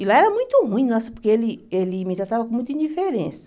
E lá era muito ruim, nossa porque ele ele me tratava com muita indiferença.